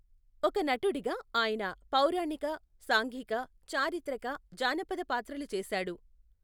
ఒక నటుడిగా ఆయన పౌరాణిక, సాంఘిక, చారిత్రక, జానపద పాత్రలు చేసాడు.